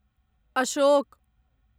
Ashok